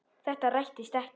Þetta rættist ekki.